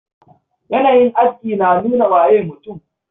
Yanayin aski na nuna waye mutum.